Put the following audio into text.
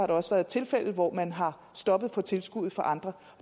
der også været tilfælde hvor man har stoppet for tilskuddet til andre